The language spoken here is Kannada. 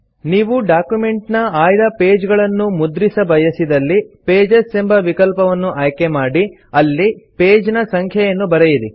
ನೀವು ಡಾಕ್ಯುಮೆಂಟ್ ನ ಆಯ್ದ ಪೇಜ್ ಗಳನ್ನು ಮುದ್ರಿಸ ಬಯಸಿದಲ್ಲಿ ಪೇಜಸ್ ಎಂಬ ವಿಕಲ್ಪವನ್ನು ಆಯ್ಕೆ ಮಾಡಿ ಅಲ್ಲಿ ಪೇಜ್ ನ ಸಂಖ್ಯೆಯನ್ನು ಬರೆಯಿರಿ